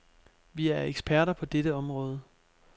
Vi er eksperter på dette område.